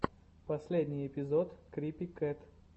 последний эпизод крипи кэт